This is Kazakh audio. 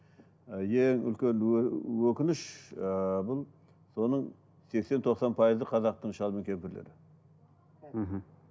ы ең үлкен өкініш ыыы бұл соның сексен тоқсан пайызы қазақтың шал мен кемпірлері мхм